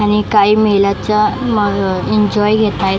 आणि काही महिलांच्या अह एन्जॉय घेतायेत.